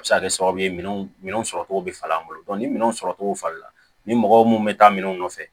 A bɛ se ka kɛ sababu ye minɛnw sɔrɔ cogo bɛ falen an bolo ni minɛnw sɔrɔ cogo falen na ni mɔgɔ mun bɛ taa minɛnw nɔfɛ